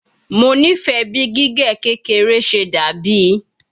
Mo nifẹ bi gige kekere ṣe dabi